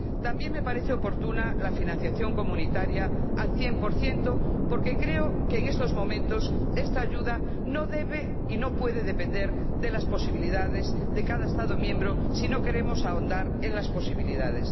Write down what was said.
También me parece oportuna la financiación comunitaria al 100 porque creo que en estos momentos esta ayuda no debe y no puede depender de las posibilidades de cada Estado miembro, si no queremos ahondar en las posibilidades.